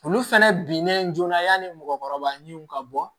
Olu fɛnɛ binnen joona yanni mɔgɔkɔrɔba ɲinw ka bɔ